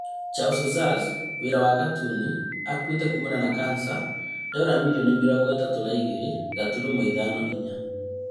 Charles Schulz wĩra wa katuni (akuĩte kumana na kansa) Dora mirioni mĩrongo ĩtatũ na igĩrĩ gaturumo ithano na inya